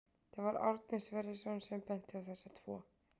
Það var Árni Sverrisson sem benti á þessa tvo.